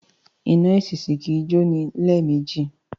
Iná èṣìṣì kì í jó ní lẹ́ẹ̀mejì